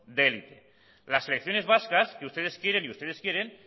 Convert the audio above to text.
de hélice las selecciones vascas que ustedes quieren y ustedes quieren